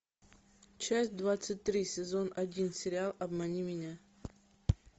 часть двадцать три сезон один сериал обмани меня